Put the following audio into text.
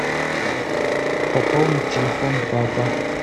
пополнить телефон папа